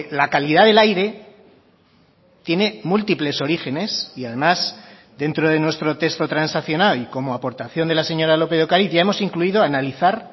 la calidad del aire tiene múltiples orígenes y además dentro de nuestro texto transaccional y como aportación de la señora lópez de ocariz ya hemos incluido analizar